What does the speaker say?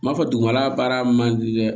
N b'a fɔ dugumala baara man di dɛ